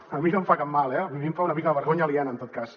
a mi no em fa cap mal eh a mi em fa una mica de vergonya aliena en tot cas